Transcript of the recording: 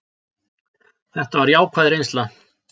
Þetta var jákvæð reynsla.